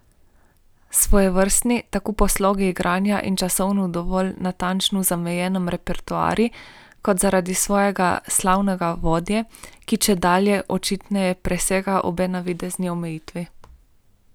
Svojevrstni tako po slogu igranja in časovno dovolj natančno zamejenem repertoarju kot zaradi svojega slavnega vodje, ki čedalje očitneje presega obe navidezni omejitvi.